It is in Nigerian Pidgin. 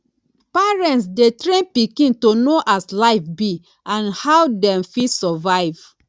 parents de train pikin to know as life be and how dem fit survive